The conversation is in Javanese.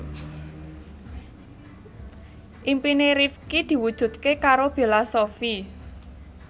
impine Rifqi diwujudke karo Bella Shofie